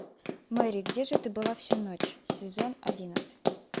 мэри где же ты была всю ночь сезон одиннадцать